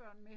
Ah, ja